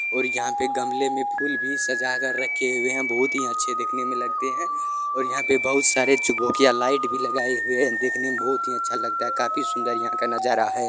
और यहां पे गमला में फूल भी सजा कर रखे हुए है बहुत ही अच्छे दिखने में लगते है और यहां पे बहुत सारी चुकभुकिया लाइट भी लगाए हुए है देखने में बहुत ही सुंदर लगता है काफी सुंदर यहां का नजारा है।